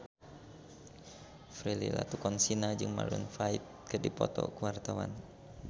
Prilly Latuconsina jeung Maroon 5 keur dipoto ku wartawan